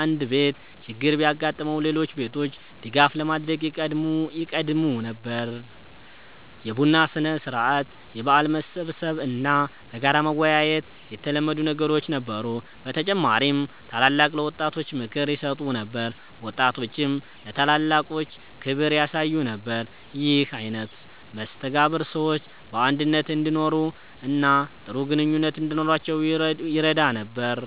አንድ ቤት ችግር ቢያጋጥመው ሌሎች ቤቶች ድጋፍ ለማድረግ ይቀድሙ ነበር። የቡና ሥነ-ሥርዓት፣ የበዓል መሰብሰብ እና በጋራ መወያየት የተለመዱ ነገሮች ነበሩ። በተጨማሪም ታላላቆች ለወጣቶች ምክር ይሰጡ ነበር፣ ወጣቶችም ለታላላቆች ክብር ያሳዩ ነበር። ይህ አይነት መስተጋብር ሰዎች በአንድነት እንዲኖሩ እና ጥሩ ግንኙነት እንዲኖራቸው ይረዳ ነበር።